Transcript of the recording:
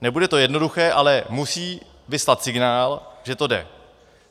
Nebude to jednoduché, ale musí vyslat signál, že to jde.